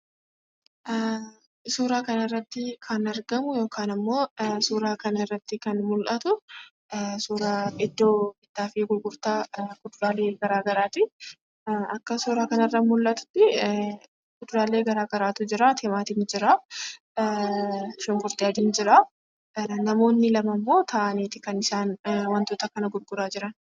Suuraa kana irratti kan argamu yookaan kan mul'atu iddoo bittaaf gurgurtaa kuduraalee gara garaati. Akka suuraa kana irraaa mul'atutti kuduraalee gara garaatu jira. Timaatimni jiraa. Shunkurtii adiin jiraa. Namoonni lama ammoo ta'aniitu kan isaan wantoota kana gurguraa jiran.